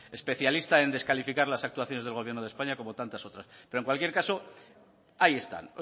especialista en descalificar las actuaciones del gobierno de españa como tantas otras pero en cualquier caso ahí están